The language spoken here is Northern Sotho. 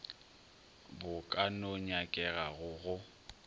bo ka no nyakegago go